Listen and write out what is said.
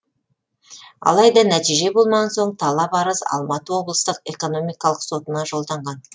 алайда нәтиже болмаған соң талап арыз алматы облыстық экономикалық сотына жолданған